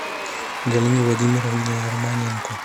галине владимировне романенко